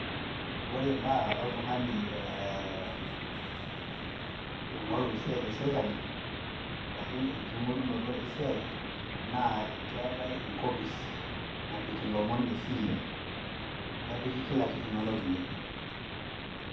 Ore imbaa oltung`ani ee oing`oru esiai te sirkali arashu enking`orunoto e siai naa keetae enkopis napik ilomon le siri. Nepiki kila kitu inonok ine.